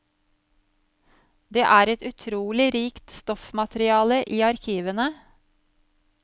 Det er et utrolig rikt stoffmateriale i arkivene.